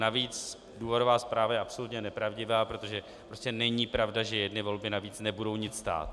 Navíc důvodová zpráva je absolutně nepravdivá, protože prostě není pravda, že jedny volby navíc nebudou nic stát.